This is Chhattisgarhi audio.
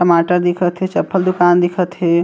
टमाटर दिखत हे चप्पल दूकान दिखत हे।